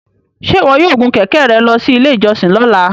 Ṣe iwọ yoo gun kẹkẹ rẹ lọ si ile ijọsin lọla?